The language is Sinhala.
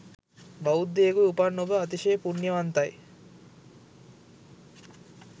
බෞද්ධයකුව උපන් ඔබ අතිශය පුණ්‍යවන්තයි.